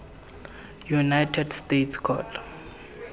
united states court